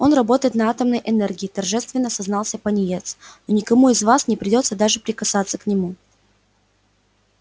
он работает на атомной энергии торжественно сознался пониетс но никому из вас не придётся даже прикасаться к нему